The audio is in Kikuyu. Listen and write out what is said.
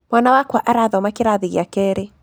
Mwana wakwa arathoma kĩrathi gĩa kerĩ.